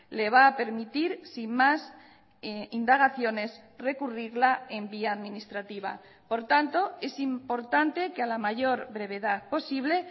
le va a permitir sin más indagaciones recurrirla en vía administrativa por tanto es importante que a la mayor brevedad posible